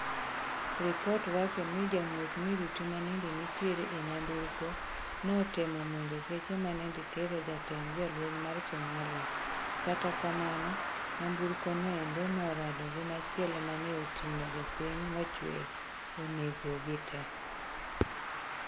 Ripot wacho ni jamuoch miruti manende nitiere e nyamburko notemo monjo geche manende tero jatend jolweny mar Somalia kata kamano nyamburko no endo norado gi machielo mane otingo jopiny mochwee onego gii tee